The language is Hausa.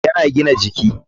Yana da abody duilder.